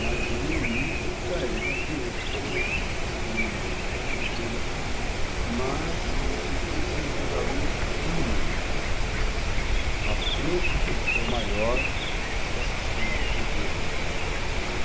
Mas no início, aí que está, a gente já tinha esses problemas de disciplina, aquela coisa toda, mas eu sentia assim, que os alunos tinham uma preocupação maior com a questão do aprender, entendeu?